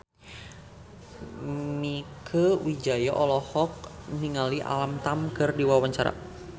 Mieke Wijaya olohok ningali Alam Tam keur diwawancara